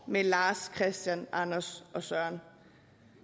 med lars kristian anders og søren